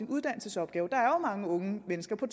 uddannelsesopgave der er krisen mange unge mennesker der